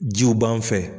Jiw b'an fɛ